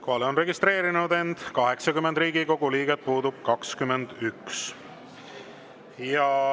Kohalolijaks on registreerinud end 80 Riigikogu liiget, puudub 21.